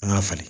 An ka falen